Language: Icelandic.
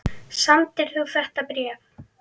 Samdir þú þetta bréf?